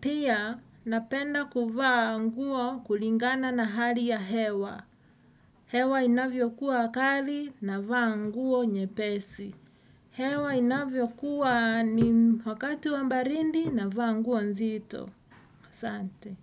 Pia, napenda kuvaa nguo kulingana na hali ya hewa. Hewa inavyokuwa kali navaa nguo nyepesi. Hewa inavyokuwa ni wakati wa baridi navaa nguo nzito. Asante.